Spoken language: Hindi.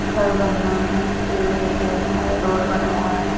घर बनी हुई हैं पेड़ लगे हुए है रोड बना हुआ --